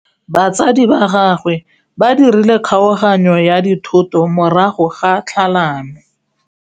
Batsadi ba gagwe ba dirile kgaoganyô ya dithoto morago ga tlhalanô.